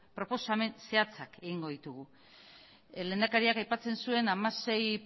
proposamen zehatzak egingo ditugu lehendakariak aipatzen zuen hamasei